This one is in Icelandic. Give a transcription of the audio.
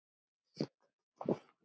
Og tíminn að renna út.